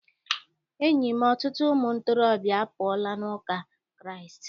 Enyi m, ọtụtụ ụmụ ntorobịa apụọla n'ụka Kraịst.